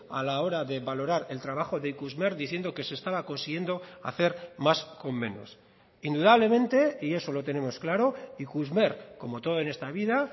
a la hora de valorar el trabajo de ikusmer diciendo que se estaba consiguiendo hacer más con menos indudablemente y eso lo tenemos claro ikusmer como todo en esta vida